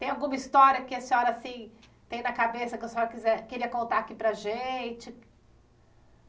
Tem alguma história que a senhora assim tem na cabeça, que a senhora quiser queria contar aqui para a gente?